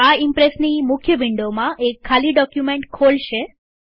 આ ઈમ્પ્રેસની મુખ્ય વિન્ડોમાં એક ખાલી ડોક્યુમેન્ટ ખોલશે